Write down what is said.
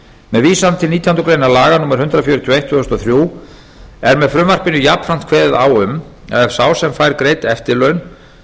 vísan til nítjánda grein laga númer hundrað fjörutíu og eitt tvö þúsund og þrjú er með frumvarpinu jafnframt kveðið á um að ef sá sem fær greidd eftirlaun